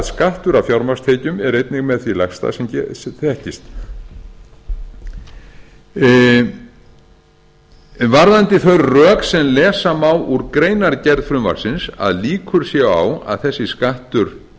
hafa í huga að skattur af fjármagnstekjum er einnig með því lægsta sem þekkist varðandi þau rök sem lesa má úr greinargerð frumvarpsins að líkur séu á að þessi skattur